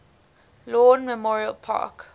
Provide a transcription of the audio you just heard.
lawn memorial park